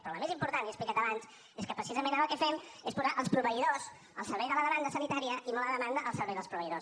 però la més important l’hi he explicat abans és que precisament ara el que fem és posar els proveïdors al servei de la demanda sanitària i no la demanda al servei dels proveïdors